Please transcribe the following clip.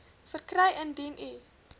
verkry indien u